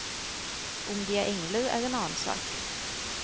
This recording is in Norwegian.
Om de er engler, er en annen sak.